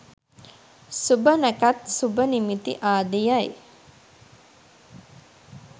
සුභ නැකැත් සුභ නිමිති ආදියයි.